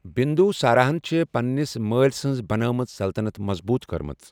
بِندوسارا ہَن چھِ پننِس مٲل سنٛز بنٲمٕژ سَلطَنَت مضبوٗط کٔرمٕژ۔